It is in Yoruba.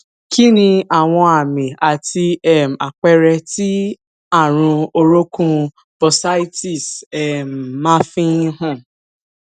kí ni àwọn àmì àti um àpere tí àrùn orokun bursitis um ma n fi han